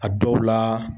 A dɔw la